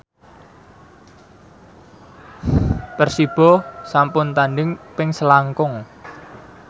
Persibo sampun tandhing ping selangkung